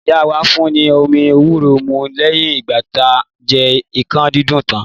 Ìyá wà fun ni omi èwúrò mù lẹyin igba tà jẹ ikan didun tan